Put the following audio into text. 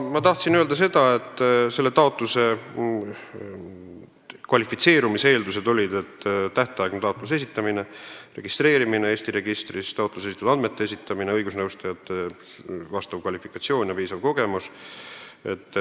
Ma tahtsin aga öelda seda, et konkursil kvalifitseerumise eeldused on järgmised: tähtaegne taotluse esitamine, registreeritus Eesti registris, taotluses nõutud andmete esitamine, õigusnõustajate vastav kvalifikatsioon ja piisav kogemus.